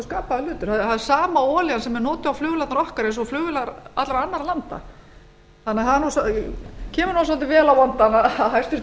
skapaður hlutur það er sama olían sem er notuð á flugvélarnar okkar eins og flugvélar allra annarra landa það kemur svolítið vel á vondan að